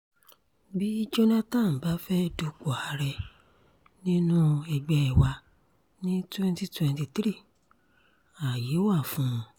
bí jonathan bá fẹ́ẹ́ dupò ààrẹ nínú ẹgbẹ́ wa ni twenty twenty three ààyè wà fún un